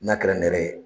N'a kɛra nɛrɛ ye